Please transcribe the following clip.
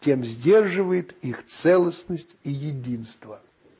тем сдерживает их целостность и единство